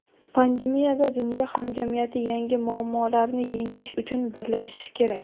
pandemiyada dunyo hamjamiyati yangi muammolarni yengish uchun birlashishi kerak.